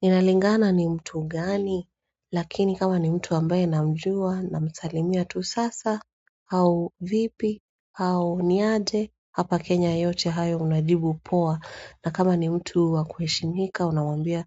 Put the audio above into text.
Inalingana ni mtu gani, lakini kama ni mtu ambaye namjua namsalimia tu sasa, au vipi, au ni aje, hapa Kenya yote hayo unajibu poa. Na kama ni mtu wakuheshimika unamwambia